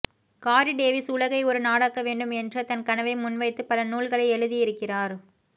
காரி டேவிஸ் உலகை ஒரு நாடாக்க வேண்டும் என்ற தன் கனவை முன்வைத்து பல நூல்களை எழுதியிருக்கிறார்